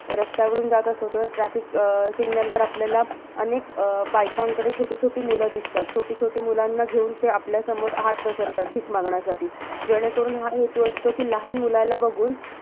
रस्त्यावरून जात असतो, तेव्हा traffic अं signal वर आपल्याला अनेक बायकांकडे छोटी छोटी मुलं दिसतात. छोटी छोटी मुलांना घेऊन ते आपल्यासमोर हात पसरतात, भिक मागण्यासाठी. जेणेकरून, हा हेतू असतो कि लहान मुलाला बघून